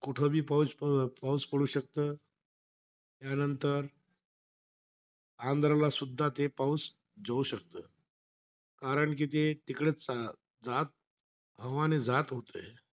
कुठंबी पाऊस प पाऊस पडू शकतं. त्यांनतर आंध्रला सुद्धा ते पाऊस जाऊ शकतं. कारण कि ते तिकडे जात हवाने जात होतं.